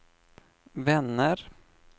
vänner